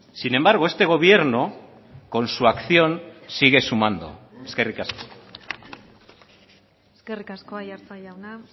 sin embargo este gobierno con su acción sigue sumando eskerrik asko eskerrik asko aiartza jauna